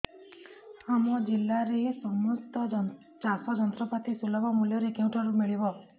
ଆମ ଜିଲ୍ଲାରେ ସମସ୍ତ ଚାଷ ଯନ୍ତ୍ରପାତି ସୁଲଭ ମୁଲ୍ଯରେ କେଉଁଠାରୁ ମିଳିବ